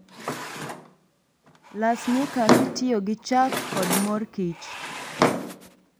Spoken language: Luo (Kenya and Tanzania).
las nyuka kitiyo gi chak kod mor kich